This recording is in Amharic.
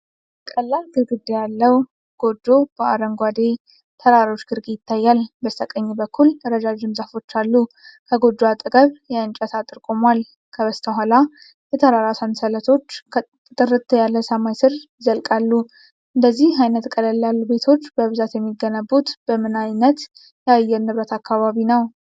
ቀላል ግድግዳ ያለው ጎጆ በአረንጓዴ ተራሮች ግርጌ ይታያል። በስተቀኝ በኩል ረዣዥም ዛፎች አሉ። ከጎጆው አጠገብ የእንጨት አጥር ቆሟል። ከበስተኋላ የተራራ ሰንሰለቶች ከጥርት ያለ ሰማይ ስር ይዘልቃሉ። እንደዚህ አይነት ቀለል ያሉ ቤቶች በብዛት የሚገነቡት በምን ዓይነት የአየር ንብረት አካባቢ ነው?